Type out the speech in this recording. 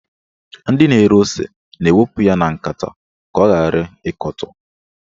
Ndị na-ere ose na-awụpụ ya na nkata ka ọ ghara ịkọtọ